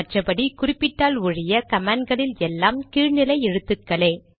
மற்றபடி குறிப்பிட்டால் ஒழிய கமாண்ட்களில் எல்லாம் கீழ் நிலை எழுத்துக்களே